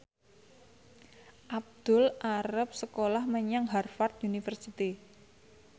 Abdul arep sekolah menyang Harvard university